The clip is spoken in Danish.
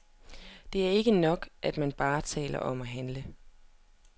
Det er ikke nok, at man bare taler om at handle.